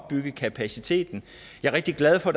opbygge kapacitet jeg er rigtig glad for